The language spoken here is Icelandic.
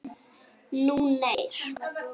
Nú þeir.